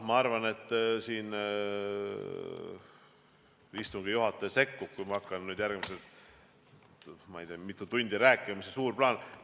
Ma arvan, et istungi juhataja sekkub, kui ma hakkan järgmised mitu tundi rääkima, mis see suur plaan on.